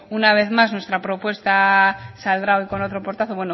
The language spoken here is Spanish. una vez más nuestra propuesta saldrá hoy con otro portazo